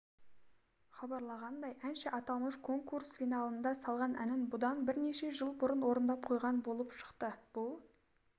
хабарланғандай әнші аталмыш конкурс финалында салған әнін бұдан бірнеше жыл бұрын орындап қойған болып шықты бұл